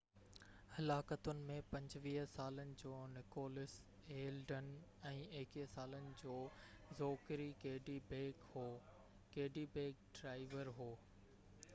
حلاڪتن ۾ 25 سالن جو Nicholas Elden ۽ 21 سالن جو زوڪري ڪڊي بيڪ هو ڪڊي بيڪ ڊرائيور هو